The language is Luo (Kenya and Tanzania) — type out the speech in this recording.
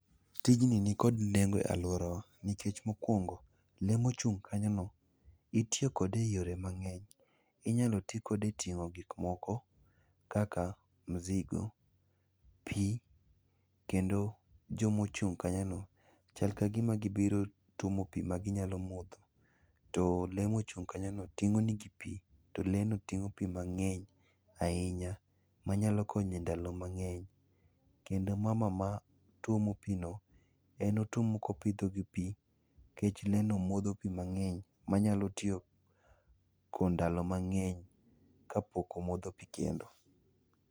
Tijni nikod nengo e alworawa nikech mokwongo, lee mochung' kanyono, itiyo kode e yore mang'eny. Inyalo ti kode e ting'o gik moko kaka mzigo, pi, kendo jomochung' kanyono, chal ka gima gibiro tuomo pi ma ginyalo modho. To lee mochung' kanyono, ting'o negi pi, to lee no ting'o pi mang'eny ahinya manyalo konyo e ndalo mang'eny. Kendo mama matuomo pi no, en otuomo kopidho gi pi, nikech lee no modho pi mang'eny manyalo tieko ndalo mang'eny kapok omodho pi kendo.